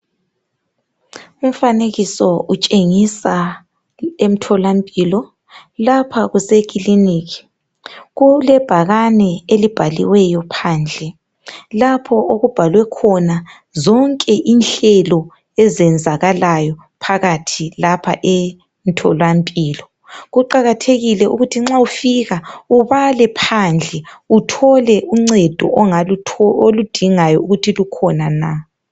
Umfanekiso utshengisa emtholampilo. Lapha kusekiliniki kulebhakane elibhaliweyo phandle, lapho okubhalwe khona zonke inhlelo ezenzakalayo phakathi lapha emtholampilo. Kuqakathekile ukuthi nxa ufika ubale phandle uthole uncedo oludingayo ukuthi lukhona na.